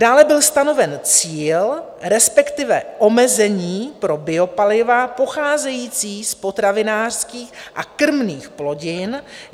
Dále byl stanoven cíl, respektive omezení pro biopaliva pocházející z potravinářských a krmných plodin.